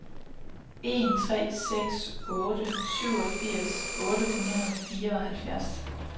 en tre seks otte syvogfirs otte hundrede og fireoghalvfjerds